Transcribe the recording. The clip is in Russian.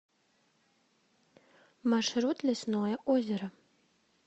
маршрут лесное озеро